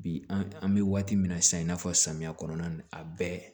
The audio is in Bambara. Bi an bɛ waati min na sisan i n'a fɔ samiya kɔnɔna na a bɛɛ